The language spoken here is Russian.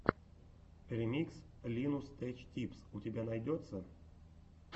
ремикс линус теч типс у тебя найдется